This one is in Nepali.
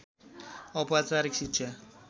औपचारीक शिक्षा